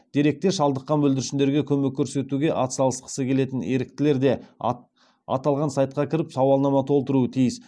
деректе шалдыққан бүлдіршіндерге көмек көрсетуге атсалысқысы келетін еріктілер де аталған сайтқа кіріп сауалнама толтыруы тиіс